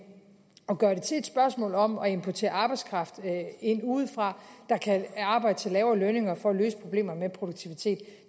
at gøre det til et spørgsmål om at importere arbejdskraft udefra der kan arbejde til lavere lønninger for at løse problemerne med produktivitet